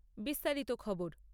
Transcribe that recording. বিশেষ বিশেষ খবর